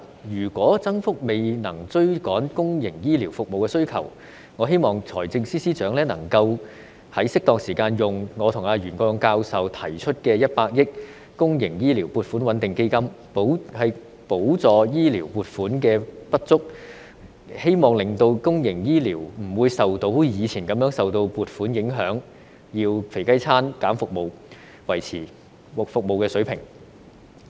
如果增幅未能追趕公營醫療服務需求，我希望財政司司長能在適當時間動用我與袁國勇教授提出設立的100億元公營醫療撥款穩定基金，補助醫療撥款的不足，希望令公營醫療不會像以前一樣受撥款影響，要以"肥雞餐"削減服務才能維持服務水平。